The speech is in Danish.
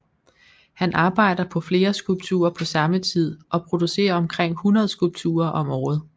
Han arbejder på flere skulpturer på samme tid og producerer omkring 100 skulpturer om året